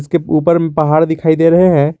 इसके ऊपर में पहाड़ दिखाई दे रहे हैं।